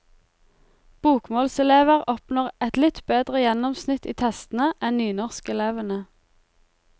Bokmålselever oppnår et litt bedre gjennomsnitt i testene enn nynorskelevene.